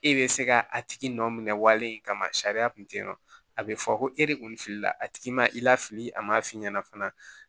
E bɛ se ka a tigi nɔ kama sariya kun tɛ yen nɔ a bɛ fɔ ko e de kun filila a tigi ma i la fili a ma f'i ɲɛna fana